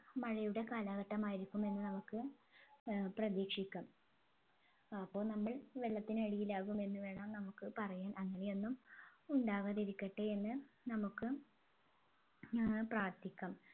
മഴയുടെ കാലഘട്ടമായിരിക്കുമെന്ന് നമുക്ക് ഏർ പ്രതീക്ഷിക്കാം അപ്പോൾ നമ്മൾ വെള്ളത്തിനടിയിൽ ആകുമെന്ന് വേണം നമ്മുക്ക് പറയാൻ അങ്ങനെ ഒന്നും ഉണ്ടാവാതിരിക്കട്ടെ എന്ന് നമ്മുക്ക് ഏർ പ്രാർത്ഥിക്കാം